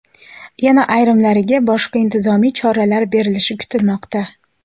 yana ayrimlariga boshqa intizomiy jazolar berilishi kutilmoqda.